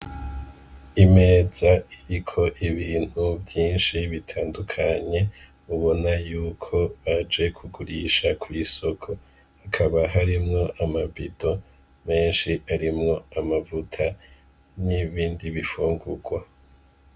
Imeza iriko ibintu vyinshi bitandukanye mubona yuko baje kugurisha kw’isoko , hakaba harimwo ama bido menshi arimwo amavuta n’ibindi bifungurwa.